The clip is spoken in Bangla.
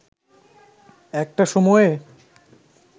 একটা সময়ে